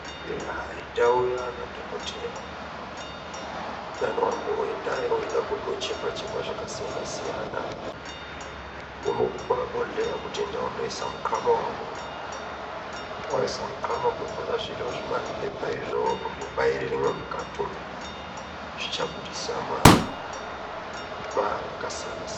Eya ndau yaana dhokodheya anomboendayo eida kundochekwa chekwa zvakasiyana siyana unoguma bhodhleya wozi enda woisa mukanwa mako waisa mukama votora zviro zvimapepa izvo vombobairiremwo mukatimwo zvichabudiaa maku maara akasiyana siyana.